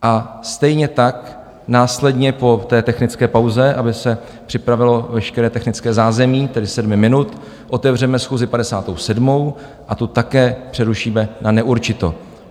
A stejně tak následně po té technické pauze, aby se připravilo veškeré technické zázemí, tedy sedmi minut, otevřeme schůzi 57. a tu také přerušíme na neurčito.